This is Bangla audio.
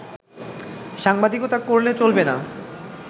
সাংবাদিকতা করলে চলবে না